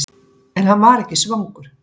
En hann var ekki svangur.